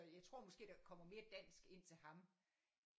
Jeg tror måske der kommer mere dansk ind til ham